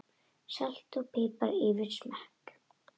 Salt og pipar eftir smekk.